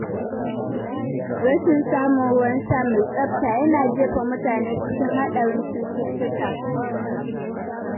Rashin samun ruwan sha mai tsafta yana jefa mutane cikin haɗarin cututtuka.